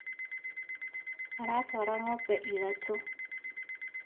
Aratwara ng'ombe ithatũ